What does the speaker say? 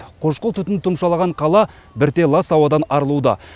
қошқыл түтін тұмшалаған қала бірте лас ауадан арылуда